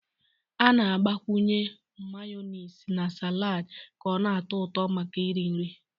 A na-agbakwunye Mayonezi na salad ka ọ na-atọ ụtọ maka iri nri